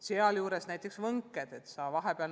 Sealjuures on oluline, kus ja kellega õpetaja töötab.